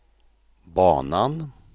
banan